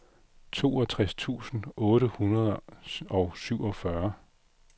toogtres tusind otte hundrede og syvogfyrre